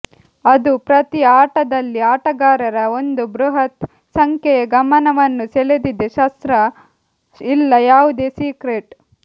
ಅದು ಪ್ರತಿ ಆಟದಲ್ಲಿ ಆಟಗಾರರ ಒಂದು ಬೃಹತ್ ಸಂಖ್ಯೆಯ ಗಮನವನ್ನು ಸೆಳೆದಿದೆ ಶಸ್ತ್ರ ಇಲ್ಲ ಯಾವುದೇ ಸೀಕ್ರೆಟ್